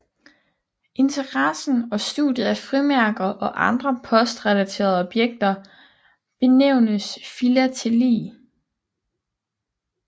Interessen og studiet af frimærker og andre postrelaterede objekter benævnes filateli